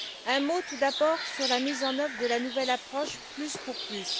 Un mot, tout d'abord, sur la mise en œuvre de la nouvelle approche plus pour plus.